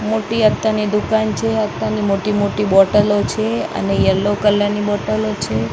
મોટી અત્તરની દુકાન છે. અત્તરની મોટી મોટી બોટલો છે અને યેલો કલર ની બોટલો છે--